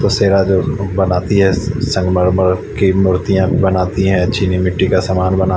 बनती है संगमरमर के मुर्तिया भी बनाती है चीनी मिटटी का सामान बनाती --